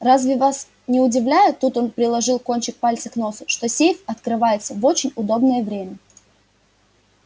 разве вас не удивляет тут он приложил кончик пальца к носу что сейф открывается в очень удобнее время